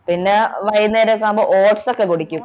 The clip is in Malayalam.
പിന്നെ വൈകുന്നേരം ഒക്കെ ആകുമ്പോൾ oats ഒക്കെ കുടിക്കും